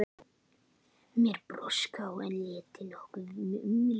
Mér krossbrá, en létti nokkuð um leið.